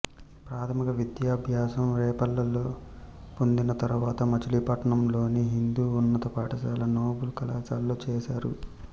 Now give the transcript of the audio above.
ప్రాథమిక విద్యాభ్యాసం రేపల్లెలో పొందిన తరువాత మచిలీపట్నంలోని హిందూ ఉన్నత పాఠశాల నోబుల్ కళాశాలలో చేశారు